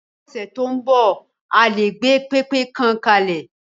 Ni ọdún tó ń bọ̀, a lè gbé pẹpẹ kan kalẹ̀.